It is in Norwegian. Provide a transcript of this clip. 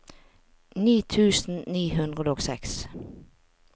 ni tusen ni hundre og seks